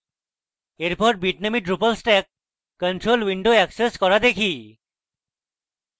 এরপর bitnami drupal stack control window access করা দেখি